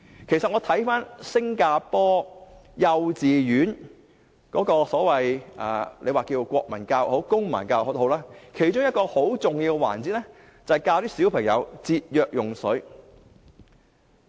其實在新加坡的幼稚園裏，大家稱為國民教育或公民教育也好，其中一個很重要的環節是教小朋友節約用水。